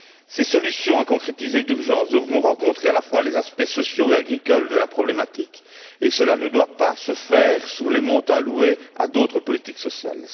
Ces solutions, à concrétiser d'urgence, devront couvrir à la fois les aspects sociaux et agricoles de la problématique et cela ne devra pas se faire au détriment de montants alloués à d'autres politiques sociales.